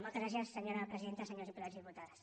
moltes gràcies senyora presidenta senyors diputats i diputades